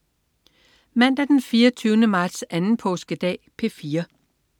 Mandag den 24. marts. Anden påskedag - P4: